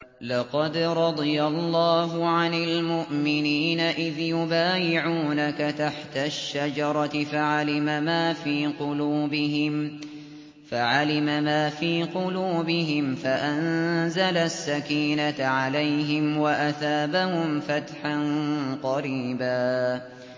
۞ لَّقَدْ رَضِيَ اللَّهُ عَنِ الْمُؤْمِنِينَ إِذْ يُبَايِعُونَكَ تَحْتَ الشَّجَرَةِ فَعَلِمَ مَا فِي قُلُوبِهِمْ فَأَنزَلَ السَّكِينَةَ عَلَيْهِمْ وَأَثَابَهُمْ فَتْحًا قَرِيبًا